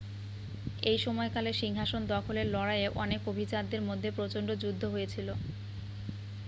এই সময়কালে সিংহাসন দখলের লড়াইয়ে অনেক অভিজাতদের মধ্যে প্রচণ্ড যুদ্ধ হয়েছিল